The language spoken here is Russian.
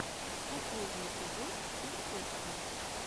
последний эпизод перфекшон